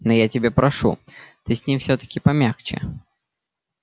но я тебя прошу ты с ним всё-таки помягче